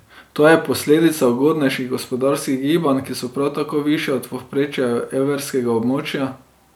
To je posledica ugodnejših gospodarskih gibanj, ki so prav tako višja od povprečja evrskega območja.